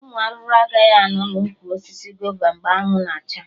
Ụmụ arụrụ agaghị anọ na ụkwụ osisi gova mgbe anwụ na acha